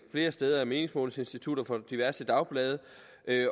flere steder af meningsmålingsinstitutter for diverse dagblade